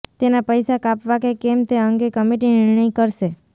તેના પૈસા કાપવા કે કેમ તે અંગે કમિટી નિર્ણય કરશે